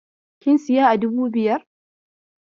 Kin siya a dubu biyar?